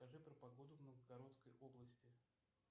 расскажи про погоду в новгородской области